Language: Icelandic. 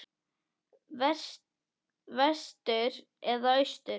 Vestur eða austur?